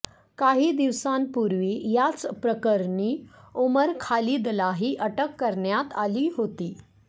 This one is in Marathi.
काही दिवसांपूर्वी याच प्रकरणी उमर खालिदलाही अटक करण्यात आली होती